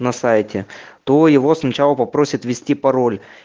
на сайте то его сначала попросят ввести пароль